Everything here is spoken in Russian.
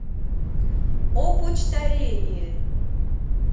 опочтарение